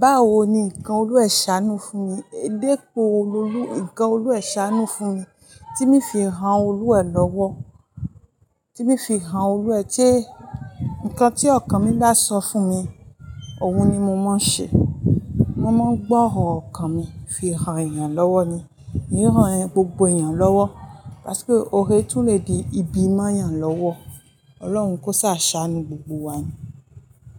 Báwo ni ǹkan Olú ẹ̀ ṣánú fún mi? Dípò Olú, ǹkan Olú ẹ̀ ṣánú fún mi tí mi fi hàn Olú ẹ̀ lọ́wọ́, tí mi fi hàn Olú ẹ̀. Tí ǹkan tí ọkàn mi bá sọ fún mi, òun ni mo máa ń ṣe. Mo máa ń gbọ́ ọ̀rọ̀ ọkàn mi fi hàn èèyàn lọ́wọ́ ni. N o hàn gbogbo èèyàn lọ́wọ́, lásíkò ore tún le di ibi mọ́ èèyàn lọ́wọ́. Ọlọ́run kó ṣàṣàánú gbogbo wa ni.